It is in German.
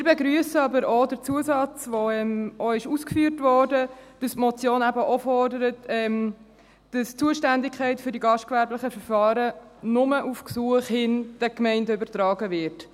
Wir begrüssen jedoch auch den Zusatz, der ausgeführt wurde, nämlich, dass die Motion auch fordert, dass die Zuständigkeit für die gastgewerblichen Verfahren nur auf Gesuch hin den Gemeinden übertragen wird.